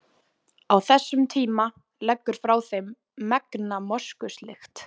Á þessum tíma leggur frá þeim megna moskuslykt.